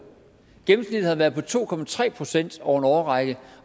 gennemsnittet har været på to procent over en årrække